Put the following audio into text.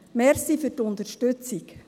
Danke für die Unterstützung.